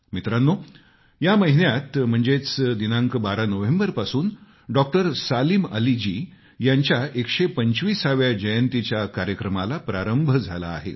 मित्रांनो या महिन्यात म्हणजेच दिनांक 12 नोव्हेंबरपासून डॉक्टर सलीम अली जी यांच्या 125 व्या जयंतीच्या कार्यक्रमाला प्रारंभ झाला आहे